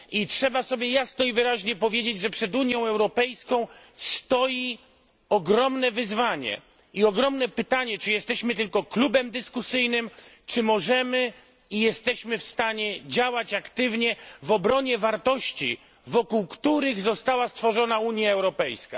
Trzeba sobie jasno i wyraźnie powiedzieć, że przed Unią Europejską stoi ogromne wyzwanie i ogromne pytanie, czy jesteśmy tylko klubem dyskusyjnym, czy możemy i jesteśmy w stanie działać aktywnie w obronie wartości, wokół których została stworzona Unia Europejska.